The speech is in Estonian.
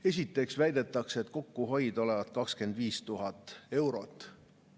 Esiteks väidetakse, et kokkuhoid olevat 25 000 eurot.